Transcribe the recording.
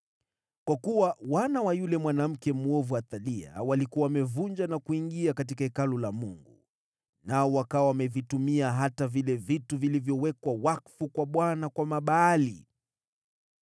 Kwa kuwa wana wa yule mwanamke mwovu Athalia, walikuwa wamevunja na kuingia katika Hekalu la Mungu, nao wakawa wamevitumia hata vile vitu vilivyowekwa wakfu kwa Bwana kwa mabaali.